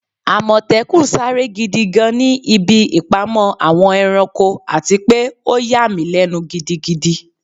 Amòtékùn sare gidi gan ni ibi ipamọ Awon eranko ati pe o yà mi lenu gidigidi